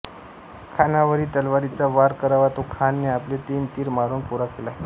खानावरी तलवारीचा वार करावा तो खानने आपले तीन तीर मारून पुरा केला